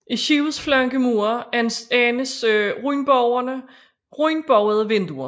I skibets flankemure anes rundbuede vinduer